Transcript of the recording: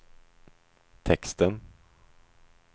texten